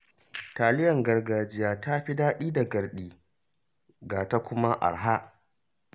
Taliyar gargajiya ta fi daɗi da garɗi, ga ta kuma arha